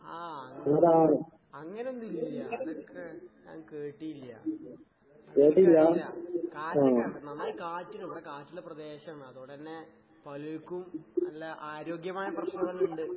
ആഹ് അങ് അങ്ങനൊന്നൂല്ല. അതൊക്കെ ഞാൻ കേട്ടീല്ല. അപ്പൊ ഇല്ല. കാറ്റൊക്കിണ്ട്, നന്നായി കാറ്റ്ണ്ട്. ഇവടെ കാറ്റ്ള്ള പ്രദേശാണ്. അതോണ്ടന്നെ പലർക്കും നല്ല ആരോഗ്യമായ പ്രശ്നങ്ങളിണ്ട്.